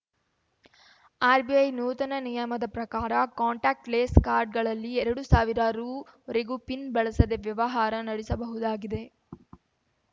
RBI ನೂತನ ನಿಯಮದ ಪ್ರಕಾರ ಕಾಂಟಾಕ್ಟ್ ಲೆಸ್‌ ಕಾರ್ಡ್‌ಗಳಲ್ಲಿ ಎರಡು ಸಾವಿರ ರು ವರೆಗೂ ಪಿನ್‌ ಬಳಸದೇ ವ್ಯವಹಾರ ನಡೆಸಬಹುದಾಗಿದೆ